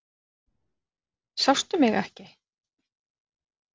Sástu mig ekki?